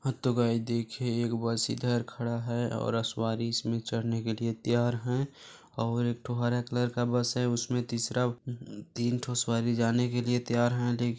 हा तो गाइस देखिये एक बस इधर खड़ा है और सवारी इसमें चढ़ने के लिए तैयार है और एक ठो हरा कलर का बस हैउसमे तीसरा तीन ठो सवारी जाने के लिए तैयार है लेक --